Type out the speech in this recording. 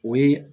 O ye